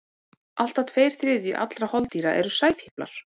Allt að tveir þriðju allra holdýra eru sæfíflar.